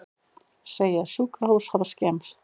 Segja sjúkrahús hafa skemmst